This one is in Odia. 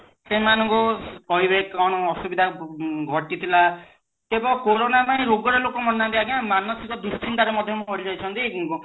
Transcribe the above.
ସେମାନଙ୍କୁ କହିବେ କଣ ଅସୁବିଧା ଘଟିଥିଲା କେବଳ କୋରୋନା ପାଇଁ ରୋଗରେ ଲୋକମନେ ମାରି ନାହାନ୍ତି ଆଜ୍ଞା ମାନସିକ ଦୁଶ୍ଚିନ୍ତା ରେ ବି ମରିଯାଇଛନ୍ତି